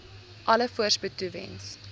alle voorspoed toewens